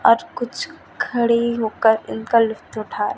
और कुछ खड़े होकर इनका लुफ्त उठा--